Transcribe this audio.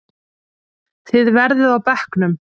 Þið verðið á bekknum!